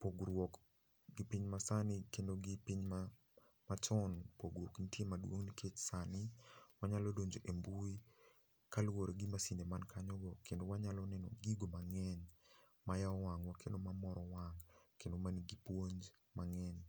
pogruok gi piny masani kendo gi piny machon pogruok nitie maduong nikech sani wanyalo donjo e mbui kaluore gi masinde man kanyo go kendo wanyalo neno gigo mangeny mayao wangwa kendo mamoro wang kendo manigi puonj mangeny.